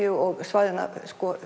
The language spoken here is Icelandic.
og svæðanna